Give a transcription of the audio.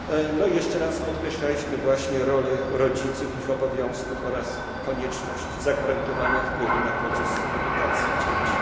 No i jeszcze raz podkreślaliśmy właśnie rolę rodziców, ich obowiązków oraz konieczność zagwarantowania wpływu na proces edukacji dzieci.